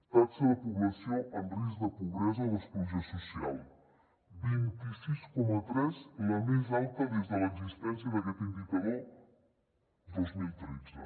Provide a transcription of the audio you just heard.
taxa de població en risc de pobresa o d’exclusió social vint sis coma tres la més alta des de l’existència d’aquest indicador dos mil tretze